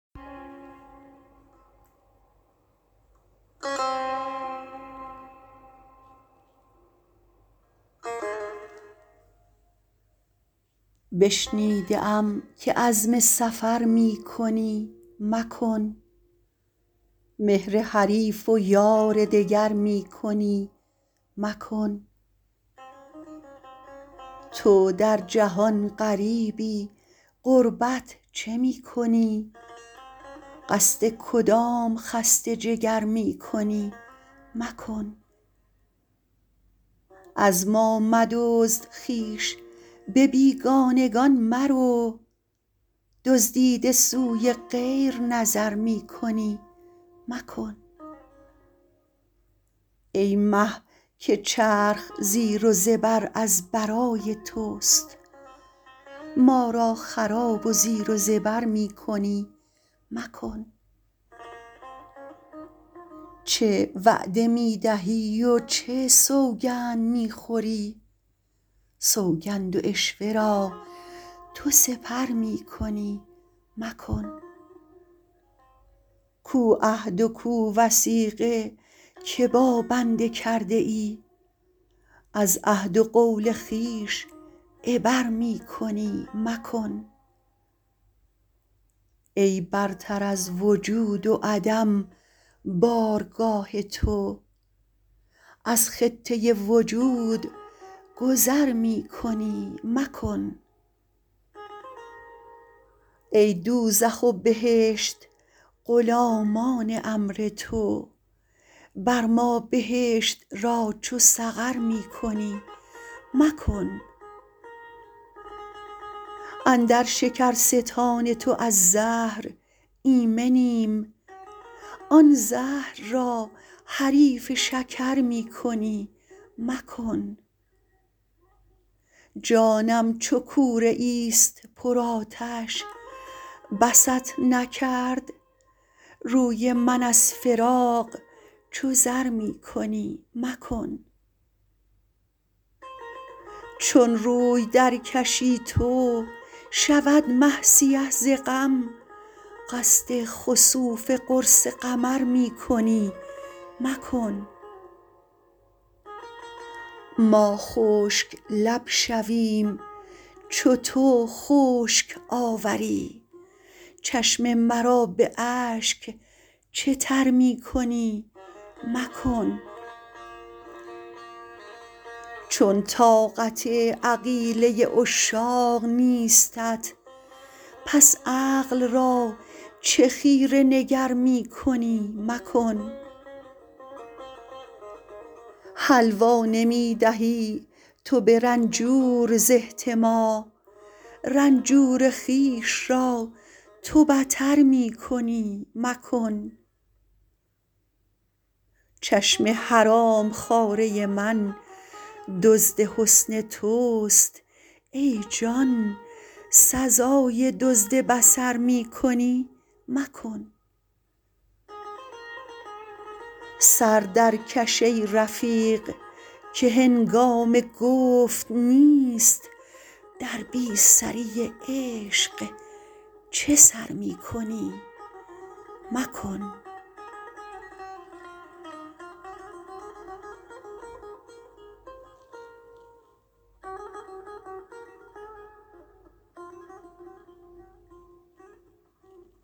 بشنیده ام که عزم سفر می کنی مکن مهر حریف و یار دگر می کنی مکن تو در جهان غریبی غربت چه می کنی قصد کدام خسته جگر می کنی مکن از ما مدزد خویش به بیگانگان مرو دزدیده سوی غیر نظر می کنی مکن ای مه که چرخ زیر و زبر از برای توست ما را خراب و زیر و زبر می کنی مکن چه وعده می دهی و چه سوگند می خوری سوگند و عشوه را تو سپر می کنی مکن کو عهد و کو وثیقه که با بنده کرده ای از عهد و قول خویش عبر می کنی مکن ای برتر از وجود و عدم بارگاه تو از خطه وجود گذر می کنی مکن ای دوزخ و بهشت غلامان امر تو بر ما بهشت را چو سقر می کنی مکن اندر شکرستان تو از زهر ایمنیم آن زهر را حریف شکر می کنی مکن جانم چو کوره ای است پرآتش بست نکرد روی من از فراق چو زر می کنی مکن چون روی درکشی تو شود مه سیه ز غم قصد خسوف قرص قمر می کنی مکن ما خشک لب شویم چو تو خشک آوری چشم مرا به اشک چه تر می کنی مکن چون طاقت عقیله عشاق نیستت پس عقل را چه خیره نگر می کنی مکن حلوا نمی دهی تو به رنجور ز احتما رنجور خویش را تو بتر می کنی مکن چشم حرام خواره من دزد حسن توست ای جان سزای دزد بصر می کنی مکن سر درکش ای رفیق که هنگام گفت نیست در بی سری عشق چه سر می کنی مکن